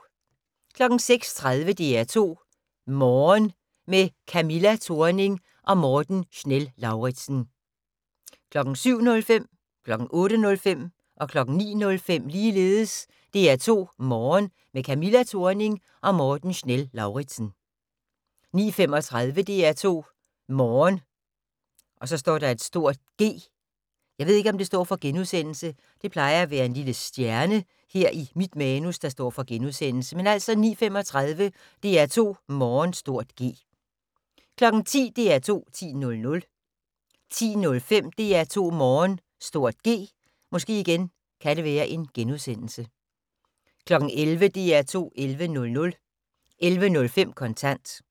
06:30: DR2 Morgen - med Camilla Thorning og Morten Schnell-Lauritzen 07:05: DR2 Morgen - med Camilla Thorning og Morten Schnell-Lauritzen 08:05: DR2 Morgen - med Camilla Thorning og Morten Schnell-Lauritzen 09:05: DR2 Morgen - med Camilla Thorning og Morten Schnell-Lauritzen 09:35: DR2 Morgen (G) 10:00: DR2 10.00 10:05: DR2 Morgen (G) 11:00: DR2 11.00 11:05: Kontant